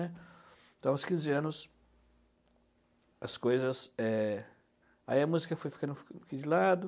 Então, aos quinze anos, as coisas é... Aí a música foi ficando um poquim de lado.